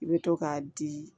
I bɛ to k'a di